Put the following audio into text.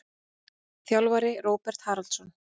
Þjálfari: Róbert Haraldsson.